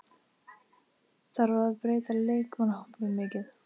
Þarf að breyta leikmannahópnum mikið?